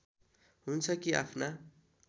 हुन्छ कि आफ्ना